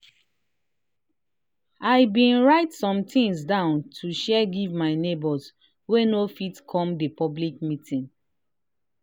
i been write somethings down to share give my neighbors wey no fit come the public meeting